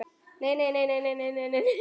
Nei, nei, nei, nei.